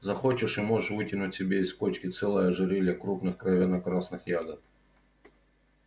захочешь и можешь вытянуть себе из кочки целое ожерелье крупных кровяно-красных ягод